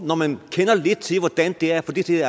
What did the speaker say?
når man kender lidt til hvordan det er at få det til